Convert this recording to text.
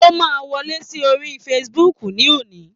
O máa wọlé sí orí Facebook ní òní.